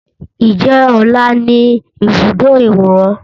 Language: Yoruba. Ǹjẹ́ ọlá wà ní ibùdó ìwòran?